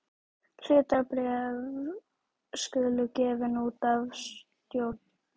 Hlutabréf skulu gefin út af stjórn.